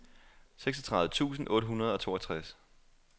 seksogtredive tusind otte hundrede og toogtres